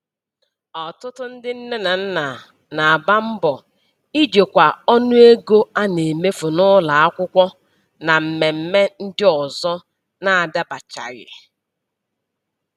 Ọtụtụ ndị nne na nna na-agba mbọ ijikwa ọnụego a na-emefu n'ụlọ akwụkwọ na mmemme ndị ọzọ na-adabachaghị